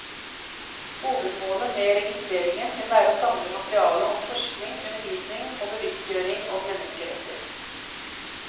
Hovedmålet med registreringen vil være å samle materiale om forskning, undervisning og bevisstgjøring om menneskeretter.